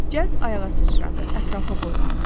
Cəld ayağa sıçradı, ətrafa boylandı.